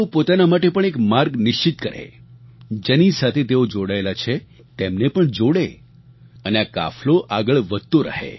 તેઓ પોતાના માટે પણ એક માર્ગ નિશ્ચિત કરે જેની સાથે તેઓ જોડાયેલા છે તેમને પણ જોડે અને આ કાફલો આગળ વધતો રહે